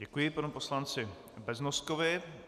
Děkuji panu poslanci Beznoskovi.